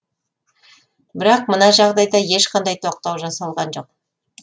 бірақ мына жағдайда ешқандай тоқтау жасалған жоқ